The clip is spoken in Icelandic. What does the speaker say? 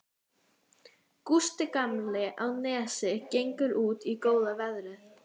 Gústi gamli á Nesi gengur út í góða veðrið.